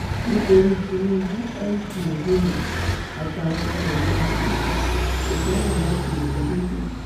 nítorí tinubu mc olhomme àtàwọn ọmọ ẹ yà sí títì kó sọnà láti èkó dọsódì